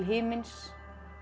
himins